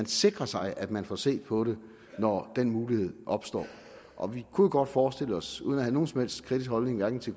sikrer sig at man får set på det når den mulighed opstår og vi kunne jo godt forestille os uden at have nogen som helst kritisk holdning til